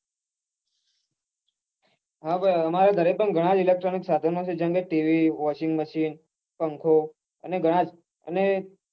હા ભાઈ અમારે ઘરે પણ ઘણાં જ electronic સાધનો છે જેમ કે tv washingmachine અને પંખો અને ઘણાં જ